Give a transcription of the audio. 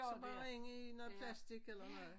Så bare ind i noget plastik eller noget